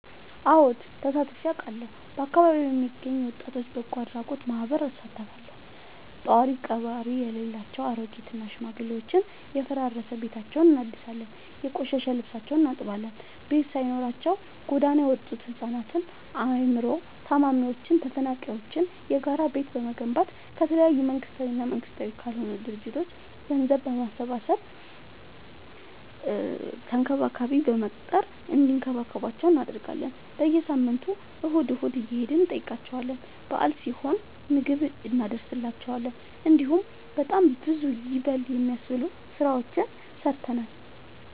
አወድ ተሳትፊ አውቃለሁ። በአካቢዬ የሚገኝ የወጣቶች በጎአድራጎት ማህበር እሳተፋለሁ። ጦሪቀባሪ የሌላቸው አሬጊት እና ሽማግሌዎችን የፈራረሰ ቤታቸውን እናድሳለን፤ የቆሸሸ ልብሳቸውን እናጥባለን፤ ቤት ሳይኖራቸው ጎዳና የወጡቱ ህፃናትን አይምሮ ታማሚዎችን ተፈናቃይዎችን የጋራ ቤት በመገንባት ከተለያዩ መንግስታዊ እና መንግስታዊ ካልሆኑ ድርጅቶች ገንዘብ በማሰባሰብ ተንከባካቢ በመቅጠር እንዲከባከቧቸው እናደርጋለን። በየሳምንቱ እሁድ እሁድ እየሄድን እንጠይቃቸዋለን በአል ሲሆን ምግብ እኖስድላቸዋለን። እንዲሁም በጣም ብዙ ይበል የሚያስብ ስራዎችን ሰርተናል።